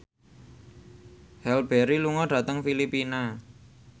Halle Berry lunga dhateng Filipina